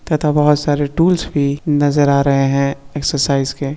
तथा बोहोत सारे टूल्स भी नजर आ रहे है। एक्सरसाइज के।